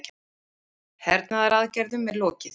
Hernaðaraðgerðum er lokið